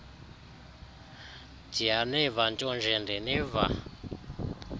ndiyaniva ntonje ndiniva